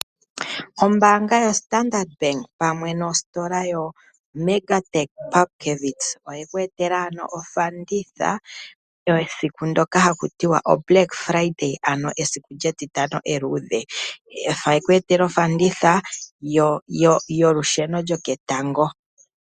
Ombaanga yoStandard Bank pamwe nositola yoMega Tech Pupkewitz, oye kwetela ano ofanditha yesiku ndoka hakutiwa oblack Friday ano esiku lyeEtitano eludhe yekwetela ofanditha yolusheno lwoketango.